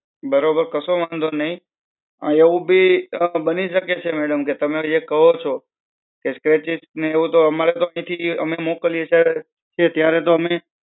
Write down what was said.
બરોબર કસો વાંધો નઈ. એવું ભી બની શકે છે madam કે તમે જે કેવો છો, કે scratches ને એવું તો અમારે મોકલીએ છે ત્યારે તો અમે